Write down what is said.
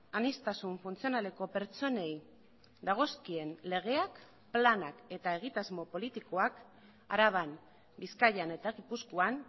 aniztasun funtzionaleko pertsonei dagozkien legeak planak eta egitasmo politikoak araban bizkaian eta gipuzkoan